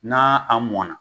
Na a mɔna.